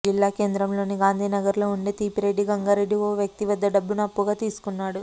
జిల్లా కేంద్రంలోని గాంధీనగర్ లో ఉండే తీపిరెడ్డి గంగారెడ్డి ఓ వ్యక్తి వద్ద డబ్బును అప్పుగా తీసుకున్నాడు